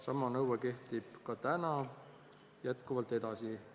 Sama nõue kehtib ka praegu edasi.